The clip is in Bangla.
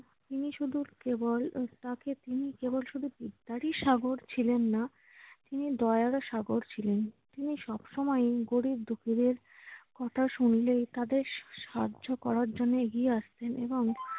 তিনি শুধু কেবল কেবল শুধু বিদ্যারই সাগর ছিলেন না, তিনি দয়ারও সাগর ছিলেন। তিনি সবসময় গরিব-দুঃখীদের কথা শুনলে তাদের সাহায্য করার জন্য এগিয়ে আসতেন এবং